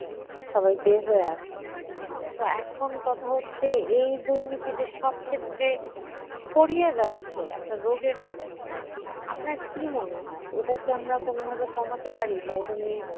সবাই বের হয়ে আসে। তো এখন কথা হচ্ছে যে এই দুর্নীতি যে সব ক্ষেত্রে ছড়িয়ে যাচ্ছে একটা রোগের মতো আপনার কী মনে হয় এটা কী আমরা কোনোভাবে কমাতে পারি বা এটা নিয়ে